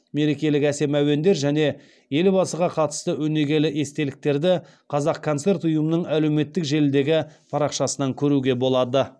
мерекелік әсем әуендер және елбасыға қатысты өнегелі естеліктерді қазақконцерт ұйымының әлеуметтік желідегі парақшасынан көруге болады